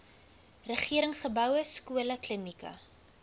regeringsgeboue skole klinieke